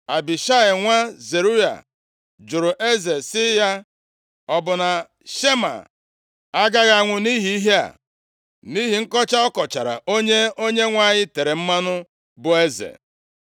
Abishai nwa Zeruaya jụrụ eze sị ya, “Ọ bụ na Shimei agaghị anwụ nʼihi ihe a? Nʼihi nkọcha ọ kọchara onye Onyenwe anyị tere mmanụ bụ eze.” + 19:21 \+xt Ọpụ 22:28; 1Sa 26:9\+xt*